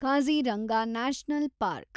Kaziranga national park